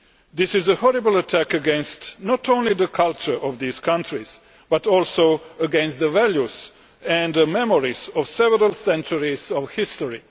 This is a horrible attack against not only the culture of those countries but also against the values and the memories of several centuries of history.